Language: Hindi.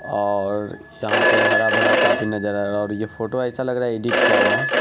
और यहाँ पे हरा भरा काफी नजरा आ रहा है और ये फोटो ऐसा लग रा है एडिट किया हुआ है।